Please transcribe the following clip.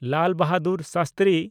Lal Bahadur Shastri